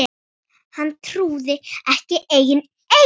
Hann trúði ekki eigin eyrum.